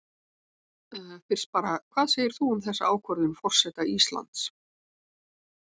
Fyrst bara, hvað segir þú um þessa ákvörðun forseta Íslands?